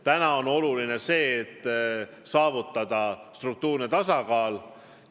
Praegu on oluline saavutada struktuurne tasakaal.